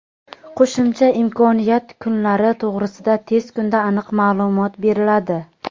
Qo‘shimcha imkoniyat (kunlari) to‘g‘risida tez kunda aniq ma’lumot beriladi.